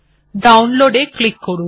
ডাউনলোডে ক্লিক করুন